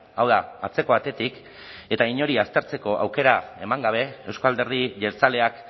hau da atzeko atetik eta inori aztertzeko aukera eman gabe euzko alderdi jeltzaleak